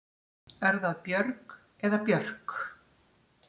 Er það Björg eða Björg?